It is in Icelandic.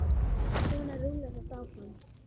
Svona rúllar þetta áfram.